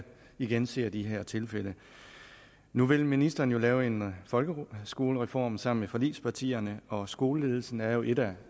igen ser vi de her tilfælde nu vil ministeren lave en folkeskolereform sammen med forligspartierne og skoleledelsen er jo et af